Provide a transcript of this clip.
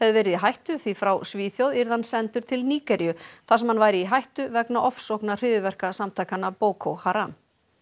verið í hættu því frá Svíþjóð yrði hann sendur til Nígeríu þar sem hann væri í hættu vegna ofsókna hryðjuverkasamtakanna Boko Haram